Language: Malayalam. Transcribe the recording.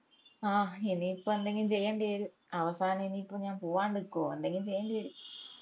ആഹ് ഇനിയിപ്പോ എന്തെങ്കിലും ചെയ്യണ്ടി വരും അവസാനം ഇനീപ്പോ ഞാൻ പോവ്വാണ്ടു നിക്കുവോ എന്തെങ്കിലും ചെയ്യേണ്ടി വെരും